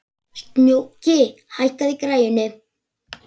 Snjóki, hækkaðu í græjunum.